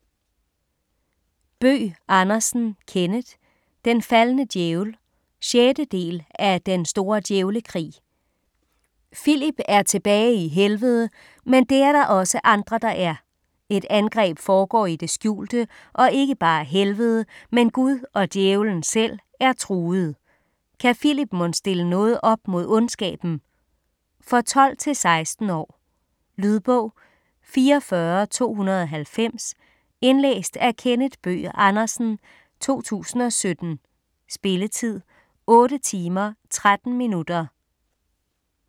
Bøgh Andersen, Kenneth: Den faldne djævel 6. del af Den store djævlekrig. Filip er tilbage i Helvede, men det er der også andre, der er. Et angreb foregår i det skjulte, og ikke bare Helvede, men Gud og Djævelen selv er truede. Kan Filip mon stille noget op mod ondskaben? For 12-16 år. Lydbog 44290 Indlæst af Kenneth Bøgh Andersen, 2017. Spilletid: 8 timer, 13 minutter.